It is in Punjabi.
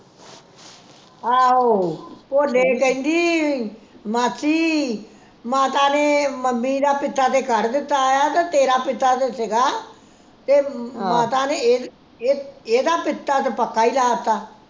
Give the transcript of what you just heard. ਆਹੋ ਭੋਲੇ ਕਹਿੰਦੀ ਮਾਸੀ ਮਾਤਾ ਨੇ ਮੰਮੀ ਦਾ ਪਿੱਤਾ ਤੇ ਕੱਢ ਦਿੱਤਾ ਆ ਤੇ ਤੇਰਾ ਪਿੱਤਾ ਸੀਗਾ ਤੇ ਮਾਤਾ ਨੇ ਇਹ ਇਹਦਾ ਪਿੱਤਾ ਤੇ ਪੱਕਾ ਈ ਡਾ ਤਾ